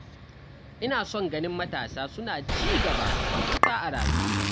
Ina son ganin matasa suna ci gaba matuƙa a rayuwarsu.